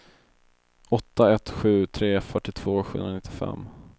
åtta ett sju tre fyrtiotvå sjuhundranittiofem